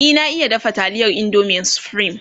e na iya dafa taliyar indomin supreme